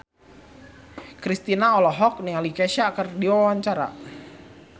Kristina olohok ningali Kesha keur diwawancara